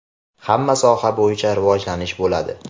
hamma soha bo‘yicha rivojlanish bo‘ladi.